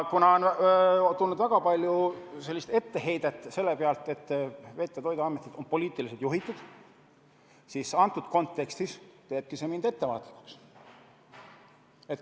Kuna on tulnud väga palju etteheiteid selle koha pealt, et Veterinaar- ja Toiduametit on poliitiliselt juhitud, siis praeguses kontekstis teebki see mind ettevaatlikuks.